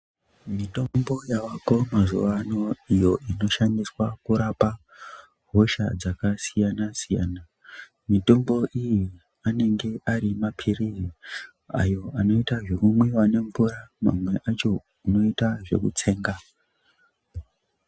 Mitombo yavako mazuwaano iyo inoshandiswa kurapa hosha dzakasiyana siyana mitombo iyi anenge ari mapirizi ayo anoita zvekumwiwa nemvura mamwe acho unoite zvekutsenga.